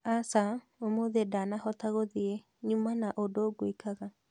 Aca ũmũthĩ ndanahota gũthiĩ nyuma na ũndũ gwĩkaga